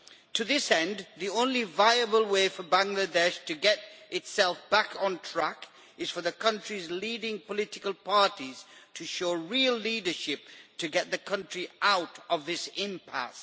To this end, the only viable way for Bangladesh to get itself back on track is for the country's leading political parties to show real leadership to get the country out of this impasse.